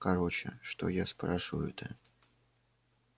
короче что я спрашиваю-то